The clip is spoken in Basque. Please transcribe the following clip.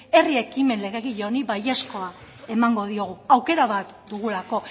herri ekimen legegile honi baiezkoa emango diogu aukera bat dugulako